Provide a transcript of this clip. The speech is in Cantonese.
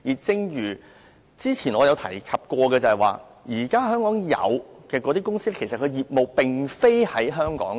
正如我之前所說，香港現有公司的業務並非在香港。